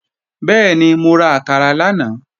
Bẹ́ẹ̀ni, mo ra àkàrà lánàá